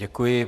Děkuji.